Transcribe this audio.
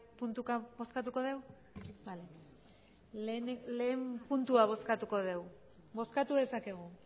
puntuka bozkatuko dugu bale lehen puntua bozkatuko dugu bozkatu dezakegu